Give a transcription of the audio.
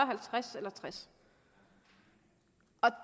halvtreds eller tres år